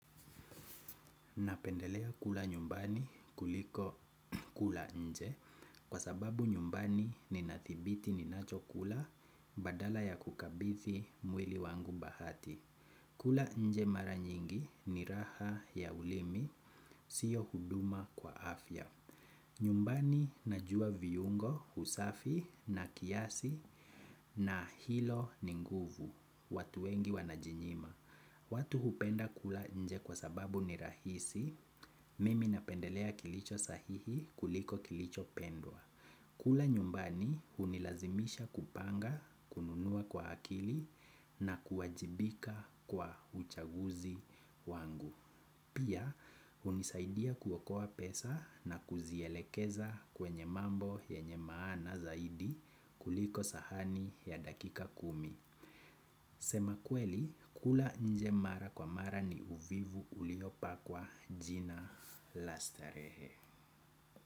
Napendelea kula nyumbani kuliko kula nje kwa sababu nyumbani ninathibiti ninachokula badala ya kukabidhi mwili wangu bahati. Kula nje mara nyingi ni raha ya ulimi, sio huduma kwa afya. Nyumbani najua viungo, usafi na kiasi na hilo ni nguvu watu wengi wanajinyima. Watu hupenda kula nje kwa sababu ni rahisi, mimi napendelea kilicho sahihi kuliko kilichopendwa. Kula nyumbani hunilazimisha kupanga, kununua kwa akili na kuwajibika kwa uchaguzi wangu. Pia hunisaidia kuokoa pesa na kuzielekeza kwenye mambo yenye maana zaidi kuliko sahani ya dakika kumi. Kusema kweli, kula nje mara kwa mara ni uvivu uliopakwa jina la starehe.